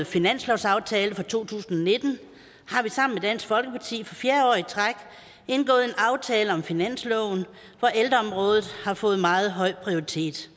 finanslovsaftale for to tusind og nitten har vi sammen med dansk folkeparti for fjerde år i træk indgået en aftale om finansloven hvor ældreområdet har fået meget høj prioritet